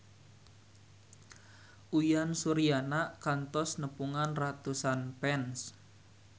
Uyan Suryana kantos nepungan ratusan fans